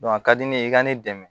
a ka di ne ye i ka ne dɛmɛ